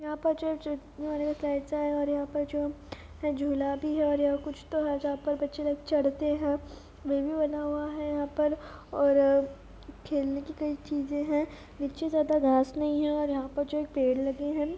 --पेंच ह स्लाइड सा है ओर यहाँ पे जो जुला भी हे ओर यहां कुछ तो है जहा पर बच्चे लोग चढते है वे भी बना हुआ है यहाँ पर और खेलने की कई चीजे है नीचे ज्यादा घास नही हैओर यहाँ पे जो पेड़ लगे है।